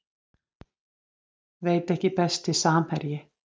Veit ekki Besti samherji?